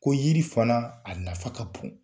Ko yiri fana, a nafa ka bon.